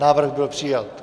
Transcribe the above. Návrh byl přijat.